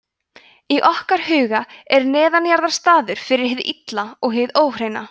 í okkar huga er neðanjarðar staður fyrir hið illa og hið óhreina